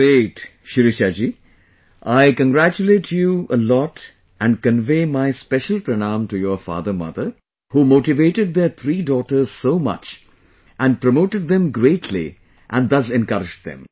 Great... Shirisha ji I congratulate you a lot and convey my special pranam to your father mother who motivated their three daughters so much and promoted them greatly and thus encouraged them